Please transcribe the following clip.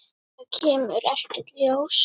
Það kemur ekkert ljós.